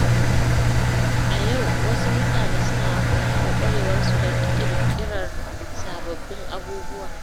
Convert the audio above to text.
A yau, wasu mutane suna amfani da ƙwarewarsu don ƙirƙirar sababbin abubuwa.